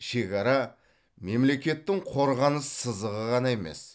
шекара мемлекеттің қорғаныс сызығы ғана емес